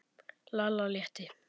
Lalla létti.